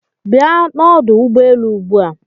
Bia n'ọdụ ụgbọelu ugbua.